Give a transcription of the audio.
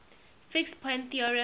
fixed point theorem